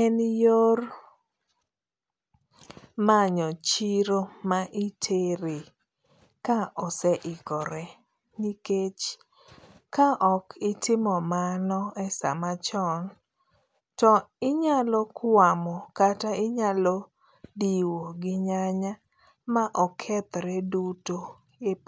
en yor manyo chiro ma itere ka oseikore nikech ka okitimo mano e samachon to inyalo kwamo kata inyalo diwo gi nyanya ma okethre duto e puo